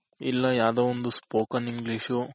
ಇಲ್ಲ ಯಾವ್ದೋ ಒಂದು Spoken English